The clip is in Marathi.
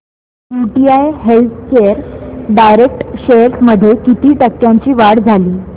यूटीआय हेल्थकेअर डायरेक्ट शेअर्स मध्ये किती टक्क्यांची वाढ झाली